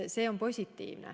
See on positiivne.